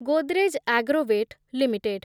Godrej Agrovet limited